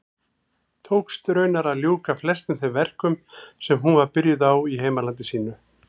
Tókst raunar að ljúka flestum þeim verkum sem hún var byrjuð á í heimalandi sínu.